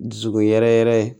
Dusu yɛrɛ yɛrɛ